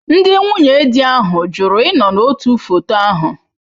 Ndị nwunye di ahụ jụrụ ịnọ n'otu foto ahụ.